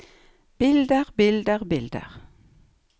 bilder bilder bilder